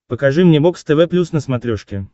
покажи мне бокс тв плюс на смотрешке